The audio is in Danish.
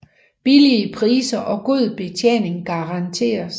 Billige Priser og god Betjening garanteres